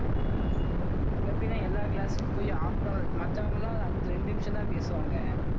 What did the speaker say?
இவன் எப்படின்னா எல்லா class க்கும் போயி half an hour மத்தவங்க எல்லாம் அஹ் ரெண்டு நிமிஷம்தான் பேசுவாங்க.